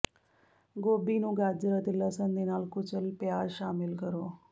ਗੋਭੀ ਨੂੰ ਗਾਜਰ ਅਤੇ ਲਸਣ ਦੇ ਨਾਲ ਕੁਚਲ ਪਿਆਜ਼ ਸ਼ਾਮਿਲ ਕਰੋ